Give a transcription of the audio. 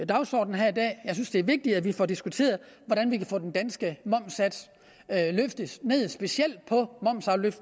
dagsorden her i dag jeg synes det er vigtigt at vi får diskuteret hvordan vi kan få den danske momssats sænket specielt